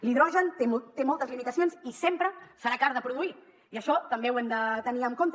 l’hidrogen té moltes limitacions i sempre serà car de produir i això també ho hem de tenir en compte